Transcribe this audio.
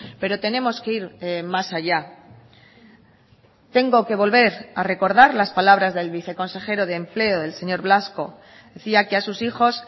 pero tenemos que ir más allá tengo que volver a recordar las palabras del viceconsejero de empleo del señor blasco decía que a sus hijos